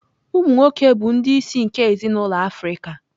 Umụ nwoke bụ ndị isi nke ezinụlọ Africa